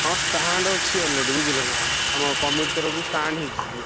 ହଁ stand ଅଛି already ବୁଝିଲ ନା। ଆମ କମିଟି ତରଫରୁ stand ହେଇଛି ସିଠି।